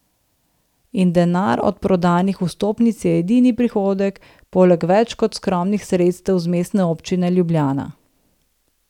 In denar od prodanih vstopnic je edini prihodek, poleg več kot skromnih sredstev z Mestne občine Ljubljana.